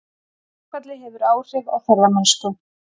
Verkfallið hefur áhrif á ferðamennsku